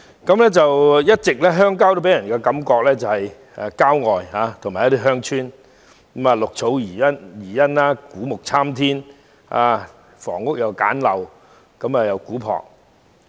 鄉郊一直予人郊外地方的感覺，建有一些鄉村，綠草如茵，古木參天，房屋簡陋古樸。